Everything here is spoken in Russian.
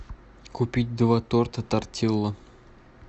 купить два торта тортилла